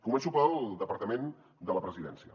començo pel departament de la presidència